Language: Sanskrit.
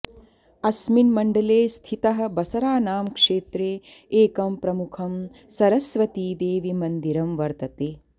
अस्मिन् मण्डले स्थितः बसरा नाम क्षेत्रे एकं प्रमुखं सरस्वतीदेवि मन्दिरम् वर्तते